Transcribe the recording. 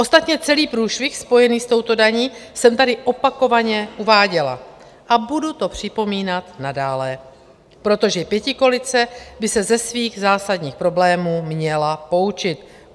Ostatně celý průšvih spojený s touto daní jsem tady opakovaně uváděla a budu to připomínat nadále, protože pětikoalice by se ze svých zásadních problémů měla poučit.